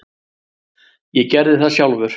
Ég gerði það sjálfur.